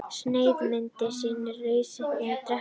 Sneiðmyndin sýnir staðsetningu drekans í heilanum.